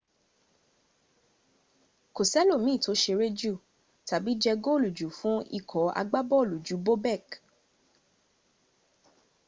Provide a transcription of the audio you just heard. kó sẹ́lòmín tó ṣeré jù tàbí jẹ góòlù jù fún ikọ̀ agbábọ̣̀ọ̀lù ju bobek